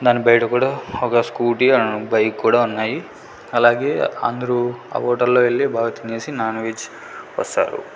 దాని బయట కూడా ఒక స్కూటీ ఓను ఒక బైక్ కూడా ఉన్నాయి అలాగే అందరూ ఆ హోటల్లో వెళ్లి బాగా తినేసి నాన్వెజ్ వస్తారు.